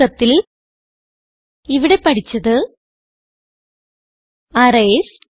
ചുരുക്കത്തിൽ ഇവിടെ പഠിച്ചത് അറേയ്സ്